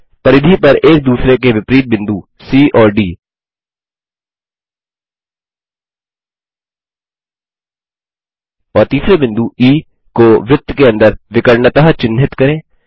परिधि पर एक दूसरे के विपरीत बिंदु सी और डी और तीसरे बिंदु ई को वृत्त के अंदर विकर्णतः चिन्हित करें